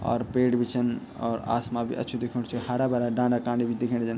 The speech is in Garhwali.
और पेड़ बि छन और आसमा बि अच्छू दिखेंणू च हरा-भरा डांडा कांडी बि दिखेणा जन।